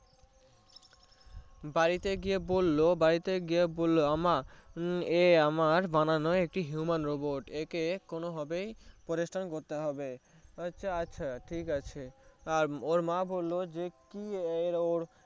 বাড়িতে গিয়ে বললো বাড়িতে গিয়ে বললো ওমা এ আমার বানানো একটি human robot কোনোভাবেই করতে হবে ও আচ্ছা আচ্ছা ঠিকাছে আর ওর মা বললো কি error